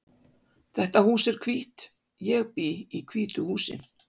Þetta hús er hvítt. Ég bý í hvítu húsi.